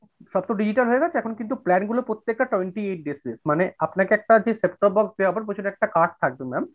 সব তো digital হয়েগেছে, এখন কিন্তু plan গুলো প্রত্যেকটা twenty eight days base মানে আপনাকে যে একটা set top box দেয়া হবে সেটার একটা card থাকবে ma'am।